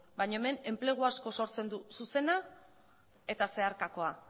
baino hemen enplegu asko sortzen du zuzena eta zeharkako